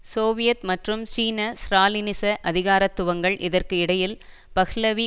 Soviet மற்றும் சீன ஸ்ராலினிச அதிகாரத்துவங்கள் இதற்கு இடையில் பஹ்லவி